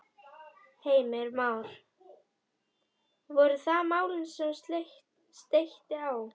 Heimir Már: Voru það málin sem steytti á?